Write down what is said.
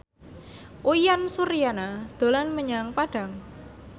Uyan Suryana dolan menyang Padang